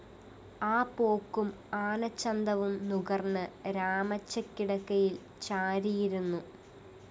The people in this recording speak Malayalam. ആ പോക്കും ആനച്ചന്തവും നുകര്‍ന്ന് രാമച്ചക്കിടക്കയില്‍ ചാരിയിരുന്നു